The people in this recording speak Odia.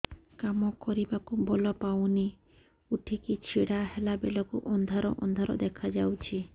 କାମ କରିବାକୁ ବଳ ପାଉନି ଉଠିକି ଛିଡା ହେଲା ବେଳକୁ ଅନ୍ଧାର ଅନ୍ଧାର ଦେଖା ଯାଉଛି